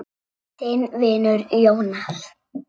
Þinn vinur, Jónas.